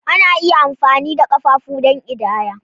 Ana iya amfani da ƙafafu don ƙidaya.